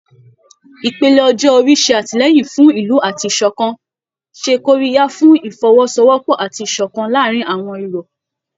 Ìpele ọjọ́ orí ṣe àtìlẹ́yìn fún ìlú àti ìṣọ̀kan, ṣe kóríyá fún Ìfọwọ́sowọ́pọ̀ àti ìṣọ̀kan láàárín àwọn irọ̀